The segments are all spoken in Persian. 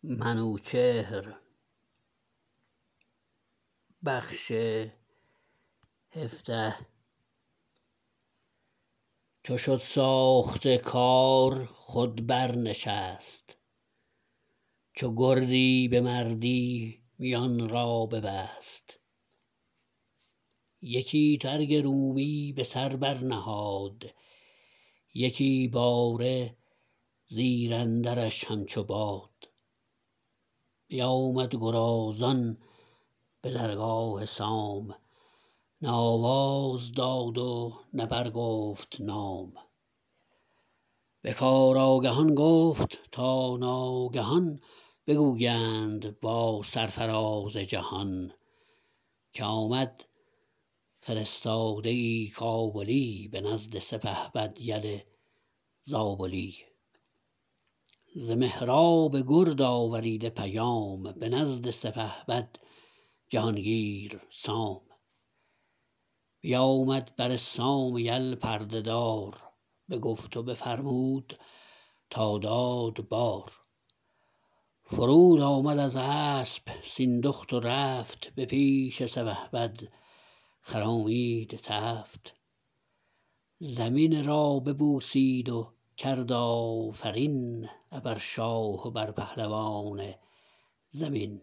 چو شد ساخته کار خود بر نشست چو گردی به مردی میان را ببست یکی ترگ رومی به سر بر نهاد یکی باره زیراندرش همچو باد بیامد گرازان به درگاه سام نه آواز داد و نه برگفت نام به کار آگهان گفت تا ناگهان بگویند با سرفراز جهان که آمد فرستاده ای کابلی به نزد سپهبد یل زابلی ز مهراب گرد آوریده پیام به نزد سپهبد جهانگیر سام بیامد بر سام یل پرده دار بگفت و بفرمود تا داد بار فرود آمد از اسپ سیندخت و رفت به پیش سپهبد خرامید تفت زمین را ببوسید و کرد آفرین ابر شاه و بر پهلوان زمین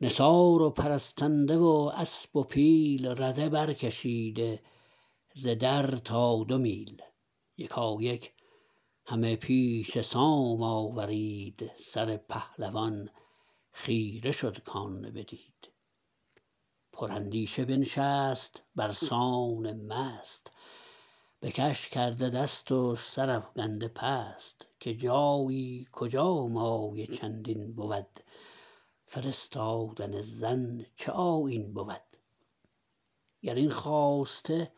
نثار و پرستنده و اسپ و پیل رده بر کشیده ز در تا دو میل یکایک همه پیش سام آورید سر پهلوان خیره شد کان بدید پر اندیشه بنشست برسان مست بکش کرده دست و سرافگنده پست که جایی کجا مایه چندین بود فرستادن زن چه آیین بود گراین خواسته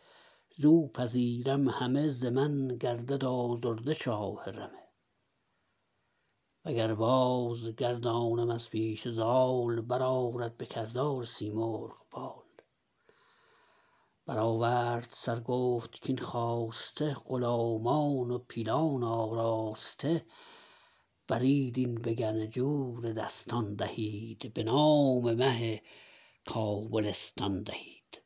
زو پذیرم همه ز من گردد آزرده شاه رمه و گر بازگردانم از پیش زال برآرد به کردار سیمرغ بال برآورد سر گفت کاین خواسته غلامان و پیلان آراسته برید این به گنجور دستان دهید به نام مه کابلستان دهید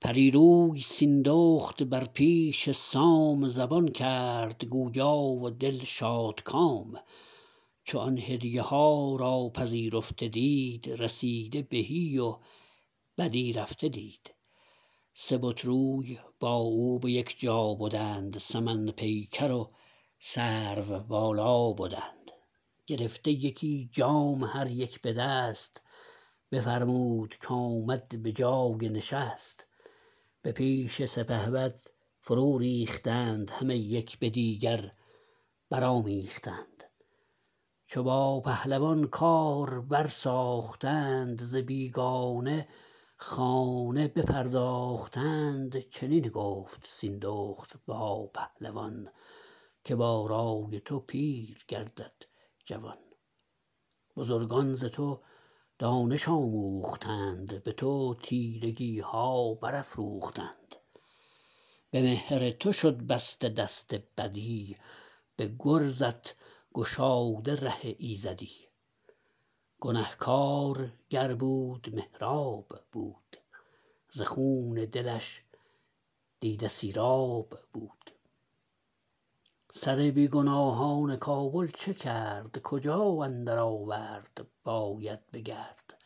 پری روی سیندخت بر پیش سام زبان کرد گویا و دل شادکام چو آن هدیه ها را پذیرفته دید رسیده بهی و بدی رفته دید سه بت روی با او به یک جا بدند سمن پیکر و سرو بالا بدند گرفته یکی جام هر یک به دست بفرمود کامد به جای نشست به پیش سپهبد فرو ریختند همه یک به دیگر برآمیختند چو با پهلوان کار بر ساختند ز بیگانه خانه بپرداختند چنین گفت سیندخت با پهلوان که با رای تو پیر گردد جوان بزرگان ز تو دانش آموختند به تو تیرگیها برافروختند به مهر تو شد بسته دست بدی به گرزت گشاده ره ایزدی گنهکار گر بود مهراب بود ز خون دلش دیده سیراب بود سر بیگناهان کابل چه کرد کجا اندر آورد باید بگرد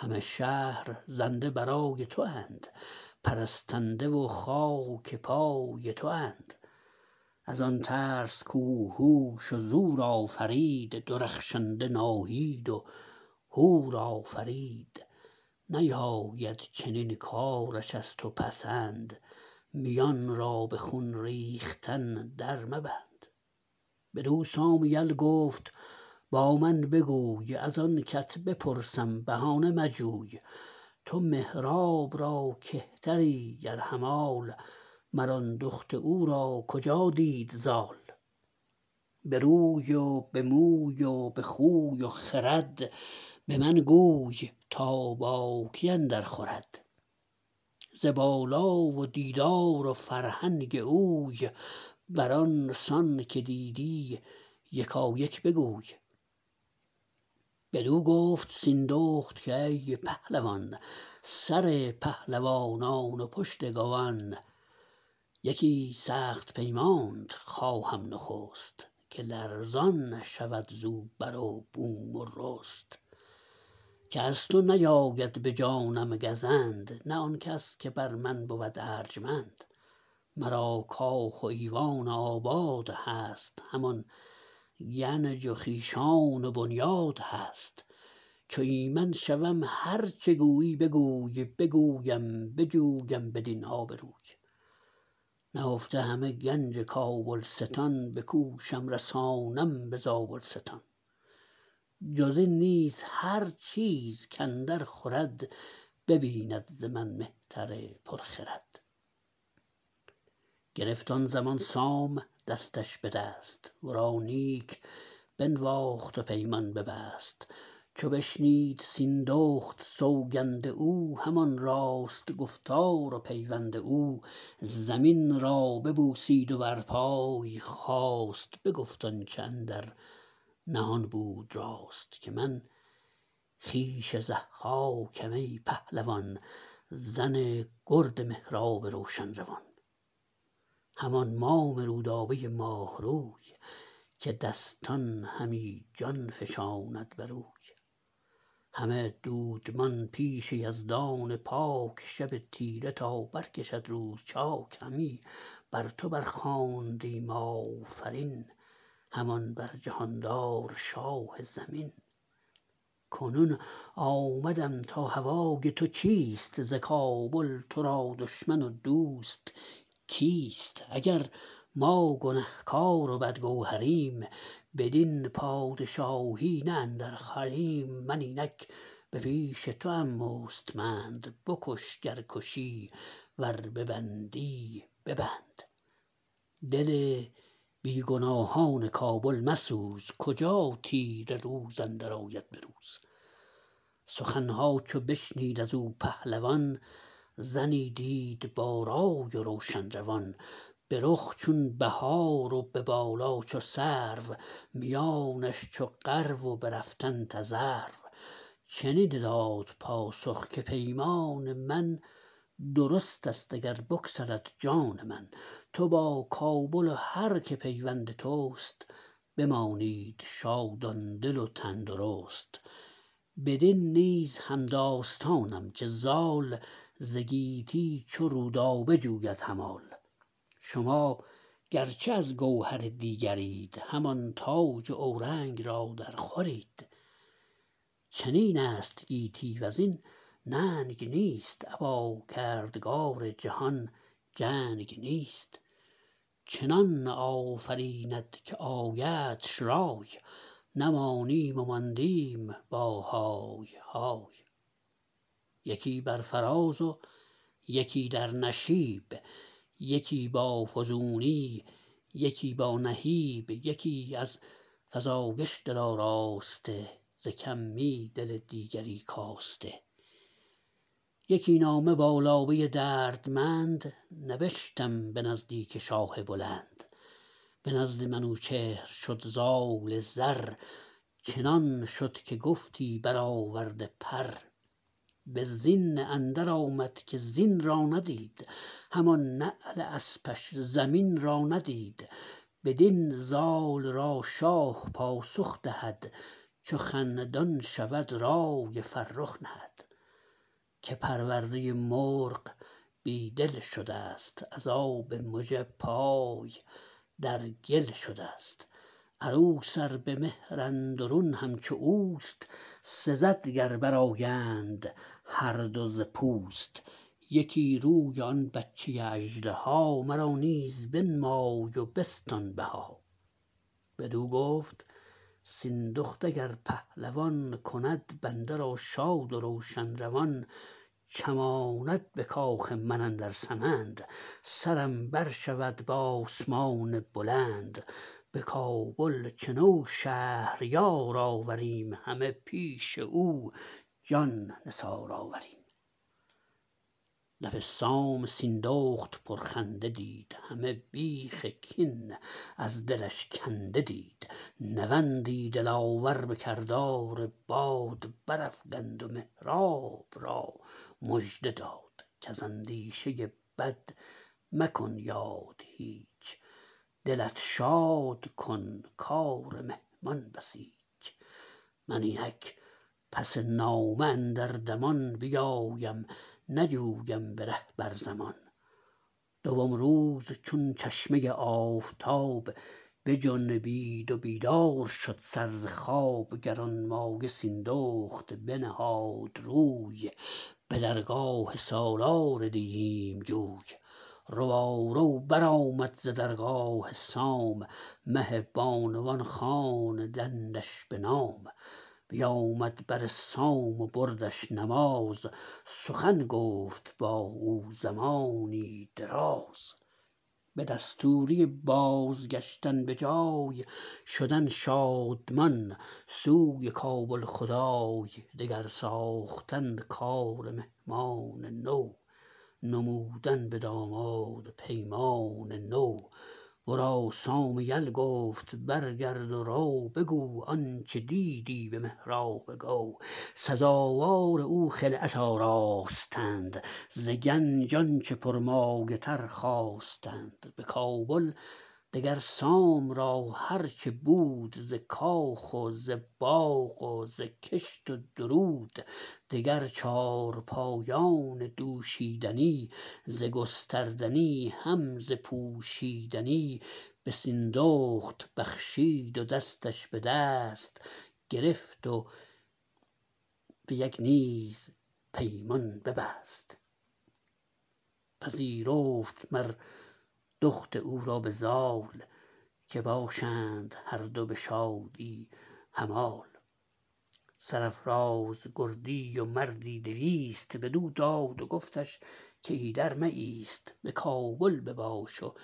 همه شهر زنده برای تواند پرستنده و خاک پای تواند ازان ترس کو هوش و زور آفرید درخشنده ناهید و هور آفرید نیاید چنین کارش از تو پسند میان را به خون ریختن در مبند بدو سام یل گفت با من بگوی ازان کت بپرسم بهانه مجوی تو مهراب را کهتری گر همال مر آن دخت او را کجا دید زال به روی و به موی و به خوی و خرد به من گوی تا باکی اندر خورد ز بالا و دیدار و فرهنگ اوی بران سان که دیدی یکایک بگوی بدو گفت سیندخت کای پهلوان سر پهلوانان و پشت گوان یکی سخت پیمانت خواهم نخست که لرزان شود زو بر و بوم و رست که از تو نیاید به جانم گزند نه آنکس که بر من بود ارجمند مرا کاخ و ایوان آباد هست همان گنج و خویشان و بنیاد هست چو ایمن شوم هر چه گویی بگوی بگویم بجویم بدین آب روی نهفته همه گنج کابلستان بکوشم رسانم به زابلستان جزین نیز هر چیز کاندر خورد ببیند ز من مهتر پر خرد گرفت آن زمان سام دستش به دست ورا نیک بنواخت و پیمان ببست چو بشنید سیندخت سوگند او همان راست گفتار و پیوند او زمین را ببوسید و بر پای خاست بگفت آنچه اندر نهان بود راست که من خویش ضحاکم ای پهلوان زن گرد مهراب روشن روان همان مام رودابه ماه روی که دستان همی جان فشاند بروی همه دودمان پیش یزدان پاک شب تیره تا برکشد روز چاک همی بر تو بر خواندیم آفرین همان بر جهاندار شاه زمین کنون آمدم تا هوای تو چیست ز کابل ترا دشمن و دوست کیست اگر ما گنهکار و بدگوهریم بدین پادشاهی نه اندر خوریم من اینک به پیش توام مستمند بکش گر کشی ور ببندی ببند دل بیگناهان کابل مسوز کجا تیره روز اندر آید به روز سخنها چو بشنید ازو پهلوان زنی دید با رای و روشن روان به رخ چون بهار و به بالا چو سرو میانش چو غرو و به رفتن تذرو چنین داد پاسخ که پیمان من درست است اگر بگسلد جان من تو با کابل و هر که پیوند تست بمانید شادان دل و تن درست بدین نیز همداستانم که زال ز گیتی چو رودابه جوید همال شما گرچه از گوهر دیگرید همان تاج و اورنگ را در خورید چنین است گیتی وزین ننگ نیست ابا کردگار جهان جنگ نیست چنان آفریند که آیدش رای نمانیم و ماندیم با های های یکی بر فراز و یکی در نشیب یکی با فزونی یکی با نهیب یکی از فزایش دل آراسته ز کمی دل دیگری کاسته یکی نامه با لابه دردمند نبشتم به نزدیک شاه بلند به نزد منوچهر شد زال زر چنان شد که گفتی برآورده پر به زین اندر آمد که زین را ندید همان نعل اسپش زمین را ندید بدین زال را شاه پاسخ دهد چو خندان شود رای فرخ نهد که پرورده مرغ بی دل شدست از آب مژه پای در گل شدست عروس ار به مهر اندرون همچو اوست سزد گر برآیند هر دو ز پوست یکی روی آن بچه اژدها مرا نیز بنمای و بستان بها بدو گفت سیندخت اگر پهلوان کند بنده را شاد و روشن روان چماند به کاخ من اندر سمند سرم بر شود به آسمان بلند به کابل چنو شهریار آوریم همه پیش او جان نثار آوریم لب سام سیندخت پرخنده دید همه بیخ کین از دلش کنده دید نوندی دلاور به کردار باد برافگند و مهراب را مژده داد کز اندیشه بد مکن یاد هیچ دلت شاد کن کار مهمان بسیچ من اینک پس نامه اندر دمان بیایم نجویم به ره بر زمان دوم روز چون چشمه آفتاب بجنبید و بیدار شد سر ز خواب گرانمایه سیندخت بنهاد روی به درگاه سالار دیهیم جوی روارو برآمد ز درگاه سام مه بانوان خواندندش به نام بیامد بر سام و بردش نماز سخن گفت بااو زمانی دراز به دستوری بازگشتن به جای شدن شادمان سوی کابل خدای دگر ساختن کار مهمان نو نمودن به داماد پیمان نو ورا سام یل گفت برگرد و رو بگو آنچه دیدی به مهراب گو سزاوار او خلعت آراستند ز گنج آنچه پرمایه تر خواستند بکابل دگر سام را هر چه بود ز کاخ و زباغ و زکشت و درود دگر چارپایان دوشیدنی ز گستردنی هم ز پوشیدنی به سیندخت بخشید و دستش بدست گرفت و یکی نیز پیمان ببست پذیرفت مر دخت او را بزال که باشند هر دو بشادی همال سرافراز گردی و مردی دویست بدو داد و گفتش که ایدر مایست به کابل بباش و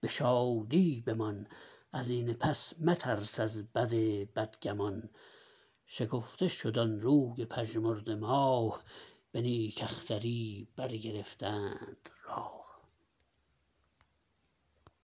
به شادی بمان ازین پس مترس از بد بدگمان شگفته شد آن روی پژمرده ماه به نیک اختری برگرفتند راه